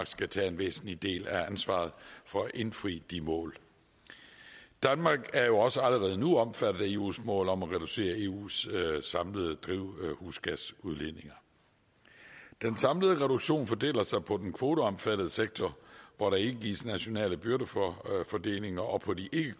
skal tage en væsentlig del af ansvaret for at indfri de mål danmark er jo også allerede nu omfattet af eus mål om at reducere eus samlede drivhusgasudledninger den samlede reduktion fordeler sig på den kvoteomfattede sektor hvor der ikke gives nationale byrder for fordelingen og på de ikke